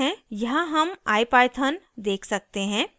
यहाँ हम ipython देख सकते हैं